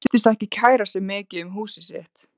Hann virtist ekki kæra sig mikið um húsið sitt.